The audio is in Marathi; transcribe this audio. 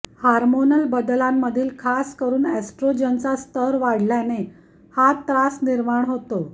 हार्मोनल बदलांमधील खास करुन एस्ट्रोजनचा स्तर वाढल्याने हा त्रास निर्माण होतो